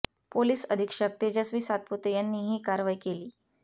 police अधीक्षक तेजस्वी सातपुते यांनी ही कारवाई केली